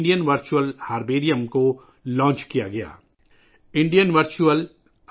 یہ اس بات کی بھی ایک مثال ہے کہ ہم ڈیجیٹل دنیا کو اپنی جڑوں سے جوڑنے کے لئے کس طرح استعمال کر سکتے ہیں